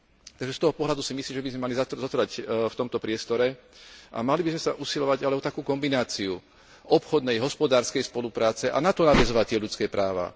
Takže z toho pohľadu si myslím, že by sme mali zotrvať v tomto priestore a mali by sme sa usilovať ale o takú kombináciu obchodnej, hospodárskej spolupráce a na to nadväzovať tie ľudské práva.